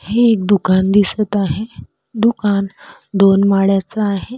हे एक दुकान दिसत आहे दुकान दोन माळ्याच आहे.